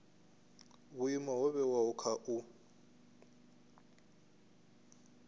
vhuimo ho vhewaho kha u